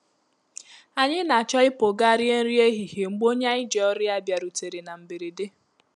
Ànyị n'acho ịpụ gaa rie nri ehihie mgbe onye anyị ji ọrụ ya bịarutere na mberede.